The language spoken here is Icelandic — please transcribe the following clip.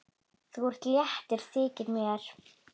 Þú ert léttur, þykir mér!